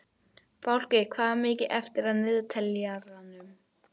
Fálki, hvað er mikið eftir af niðurteljaranum?